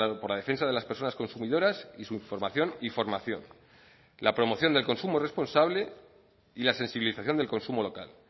por la defensa de las personas consumidoras y su información y formación la promoción del consumo responsable y la sensibilización del consumo local